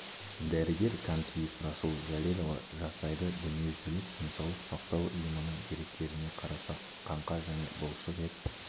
дәрігер камкиев расул жәлелұлы жасайды дүниежүзілік денсаулық сақтау ұйымының деректеріне қарасақ қаңқа және бұлшық ет